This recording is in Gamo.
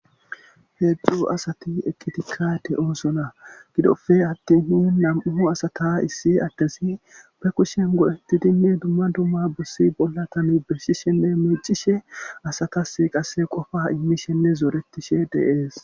Heejzju asati ekkitikka de ooso na gidofe attinhi nam7uhu asata issi addesi be kushen go7etti dinni dumma dumma bussi bolla tani beshi shenne meecishe asatas qase qofa immi shenne zooretishe deees